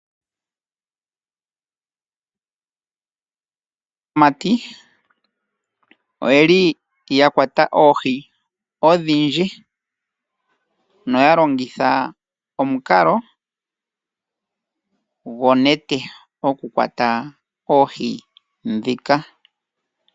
Aamati oyeli ya kwata oohi odhindji, noya longitha omukalo gonete okukwata oohi dhika.